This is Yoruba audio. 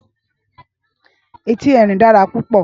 Éti Erín dàrá púpò